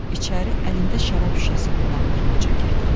İçəri əlində şərab şüşəsi olan bir qoca girdi.